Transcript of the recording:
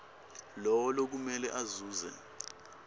lowo lokumele azuze